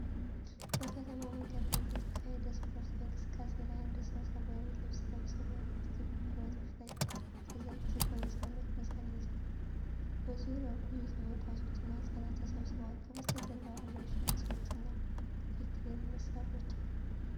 በከተማ መንገድ ላይ በተካሄደ ስፖርታዊ እንቅስቃሴ ላይ አንድ ሰው ሰማያዊ ልብስ ለብሶ፣ በሁለት ክብ ብረቶች ላይ ተዘቅዝቆ የሰውነት ሚዛን ይዟል። በዙሪያው ብዙ ተመልካቾችና ህጻናት ተሰብስበዋል። ከበስተጀርባ ረዣዥም ህንጻዎችና የክሬን መሣሪያዎች አሉ።